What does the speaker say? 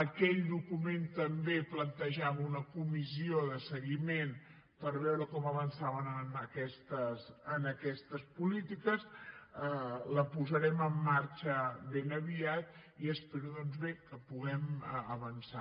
aquell document també plantejava una comissió de seguiment per veure com avançàvem en aquestes polítiques la posarem en marxa ben aviat i espero doncs bé que puguem avançar